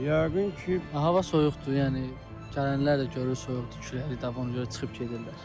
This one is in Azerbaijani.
Yəqin ki, hava soyuqdur, yəni gələnlər də görür soyuqdur, küləkli də, ona görə çıxıb gedirlər.